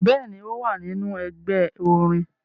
Bẹẹni, o wa ninu ẹgbẹ orin